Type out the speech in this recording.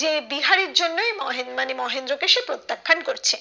সে বিহারীর জন্যই মহেন মানে মহেন্দ্র কে সে প্রত্যাখ্যান করছে